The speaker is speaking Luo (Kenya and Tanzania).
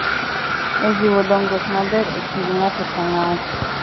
E jiwo dongruok maber e kind ng’ato ka ng’ato,